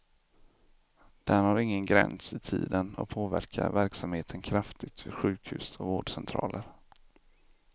Den har ingen gräns i tiden och påverkar verksamheten kraftigt vid sjukhus och vårdcentraler.